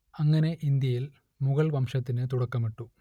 അങ്ങനെ ഇന്ത്യയിൽ മുഗൾവംശത്തിനു തുടക്കമിട്ടു